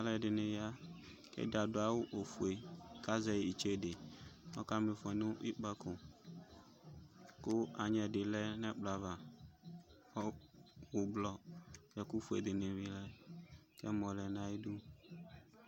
Alʋ ɛdɩnɩ ya ;ɛdɩ adʋ awʋ ofue kazɛ itsede kɔka mɩfɔ nʋ ikpǝko, kʋ anyɛ dɩ lɛ n' ɛkplɔ ava o,ʋblɔ ɛkʋ fue dɩnɩ bɩ lɛ k'ɛmɔ lɛ nayidu